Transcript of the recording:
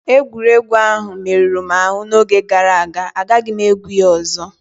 Egwuregwu a merụrụ m ahụ n'oge gàrà aga, agaghị m egwu a ọzọ